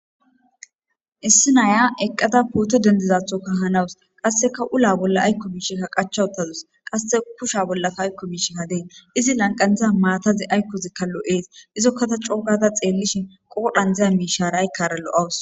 Issi nayiya eqada poto dendizathokka hanawus qassekka ula bolli aykko miishshi qachcha uttadus qasse kusha bollikka ayko miishshi des izi qanthan maathazi aykozikka des lo'es izokka ta coogada xeellishin qoodhan diya miishaara aykaara lo'awus.